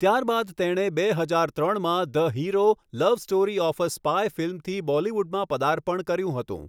ત્યારબાદ તેણે બે હજાર ત્રણમાં the hero love story of a spy ફિલ્મથી બોલીવુડમાં પદાર્પણ કર્યું હતું.